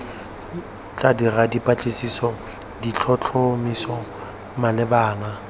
tla dira dipatlisiso ditlhotlhomiso malebana